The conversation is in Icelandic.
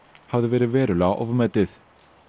hafði verið verulega ofmetið